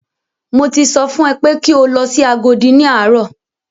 Mo ti sọ fún ẹ pé kí o lọ sí Agodi ní àárọ̀!